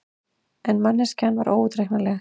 En manneskjan var óútreiknanleg.